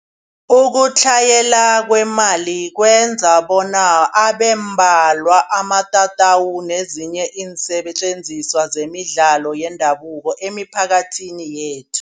Ukutlhayela kwemali kwenza bona abembalwa amatatawu nezinye iinsetjenziswa zemidlalo yendabuko emiphakathini yethu.